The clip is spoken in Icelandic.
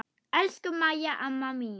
Elsku Mæja amma mín.